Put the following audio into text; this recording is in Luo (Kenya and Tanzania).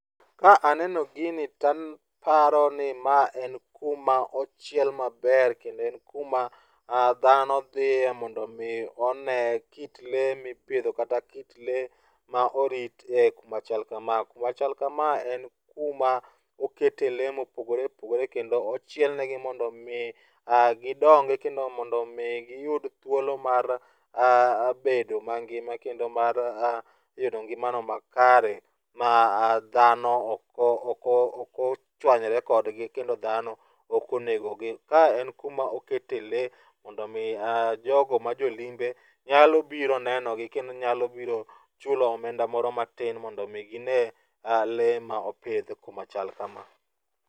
Ka aneno gini taparo ni ma en kuma ochiel maber kendo en kuma dhano dhiye mondo mi one kit lee mipidho kata kit lee ma orit e kuma chal kama. Kuma chal kama en kuma okete lee mopogore opogore kendo ochiel negi mondo mii gidongi kendo mondo mii giyud thuolo mar bedo mangima kendo mar yudo ngimano makare ma dhano ok thor, ok ochwanyore kodgi kendo dhano ok onego gi. Ma en kuma okete lee mondo omi jogo ma jolimbe nyalo biro neno gi kendo nyalo biro chulo omenda moro matin mondo mi ginee lee ma opidh kuma chal kama